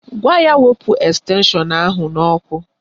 Gwa ya wepụ estenshọn ahụ n'ọkụ